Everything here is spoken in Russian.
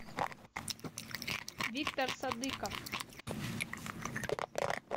виктор садыков